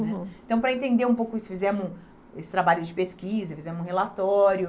Uhum. Então, para entender um pouco isso, fizemos esse trabalho de pesquisa, fizemos um relatório.